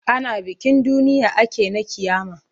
Ana bikin duniya ake na ƙiyama.